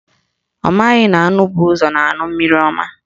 Ọ maghị na anụ bu ụzọ na-aṅụ mmiri ọma